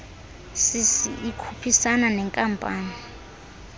cc ikhuphisana neenkampani